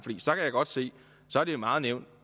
godt se at det er meget nemt